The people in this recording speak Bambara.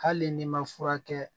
Hali n'i ma furakɛ